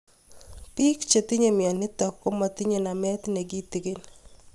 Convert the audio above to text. Pik che tinye mionitok kptinye nemet ne kitig'in